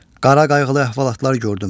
Qara qayğılı əhvalatlar gördüm.